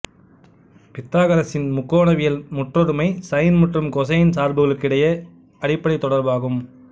பித்தாகரசின் முக்கோணவியல் முற்றொருமை சைன் மற்றும் கோசைன் சார்புகளுக்கிடையேயான அடிப்படைத் தொடர்பாகும்